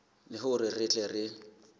le hore re tle re